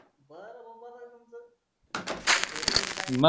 काही फोने नाही काही नाही मग काय म्हणतात अरे हाय कुठं लय दिवसा नंतर फोन केला भो गरिबाला हाव का